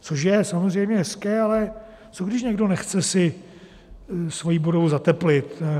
Což je samozřejmě hezké, ale co když někdo nechce si svoji budovu zateplit.